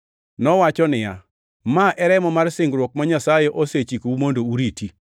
Nowacho niya, “Ma e remo mar singruok ma Nyasaye osechikou mondo uriti.” + 9:20 \+xt Wuo 24:8\+xt*